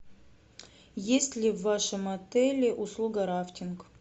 есть ли в вашем отеле услуга рафтинг